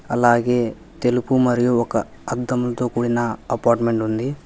అలాగే తెలుపు మరియు ఒక అద్దంతో కూడిన అపార్ట్మెంట్ ఉంది.